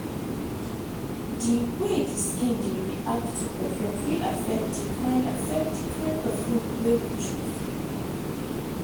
di wey di skin dey react to perfume fit affect di kind affect di kind perfume wey we choose